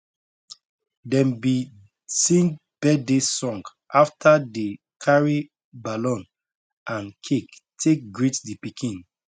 dem bi sing birthday song after dey carry ballon and cake take greet di pikin